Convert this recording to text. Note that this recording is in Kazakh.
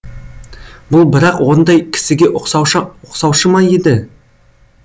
бұл бірақ ондай кісіге ұқсаушы ма еді